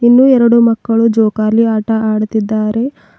ಇನ್ನು ಎರಡು ಮಕ್ಕಳು ಜೋಕಾಲಿ ಆಟ ಆಡುತ್ತಿದ್ದಾರೆ.